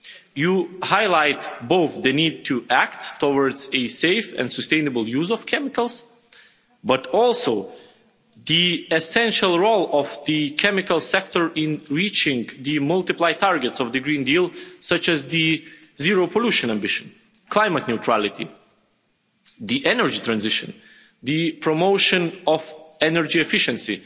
You highlight both the need to act towards a safe and sustainable use of chemicals, but also the essential role of the chemical sector in reaching the multiple targets of the Green Deal, such as the zero pollution ambition, climate neutrality, energy transition, the promotion of energy efficiency